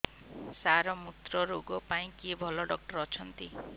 ସାର ମୁତ୍ରରୋଗ ପାଇଁ କିଏ ଭଲ ଡକ୍ଟର ଅଛନ୍ତି